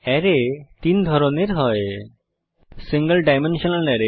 আরায় তিন ধরনের হয় সিঙ্গল ডাইমেনশনাল আরায়